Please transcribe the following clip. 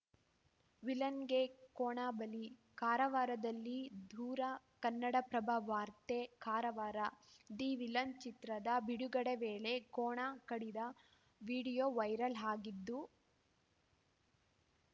ವಿಲನ್‌ಗೆ ಕೋಣ ಬಲಿ ಕಾರವಾರದಲ್ಲಿ ದೂರ ಕನ್ನಡಪ್ರಭ ವಾರ್ತೆ ಕಾರವಾರ ದಿ ವಿಲನ್‌ ಚಿತ್ರದ ಬಿಡುಗಡೆ ವೇಳೆ ಕೋಣ ಕಡಿದ ವಿಡಿಯೋ ವೈರಲ್‌ ಆಗಿದ್ದು